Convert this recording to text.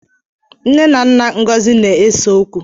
Nna na nna Ngọzi na-ese okwu.